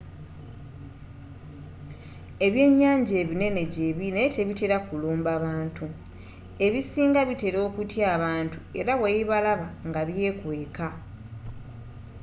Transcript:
ebyenyanja ebinene gyebili naye tebitela kulumba bantu ebisinga bitela okutya abantu era bwebibalaba nga byekweka